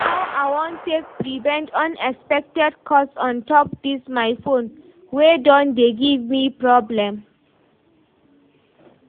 how I wan take prevent unexpected cost on top dis my phone wey don dey give me problem